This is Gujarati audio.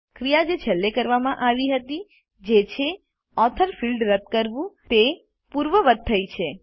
ક્રિયા જે છેલ્લે કરવામાં આવી હતી જે છે ઓથોર ફિલ્ડ રદ કરવું તે પૂર્વવત્ થઇ છે